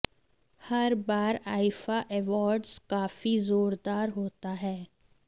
हर बार आईफा एवार्ड्स काफी जोरदार होता है